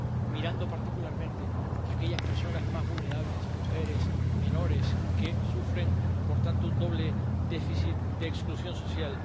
mirando particularmente a aquellas personas más vulnerables —mujeres, menores—, que sufren, por tanto, un doble déficit de exclusión social.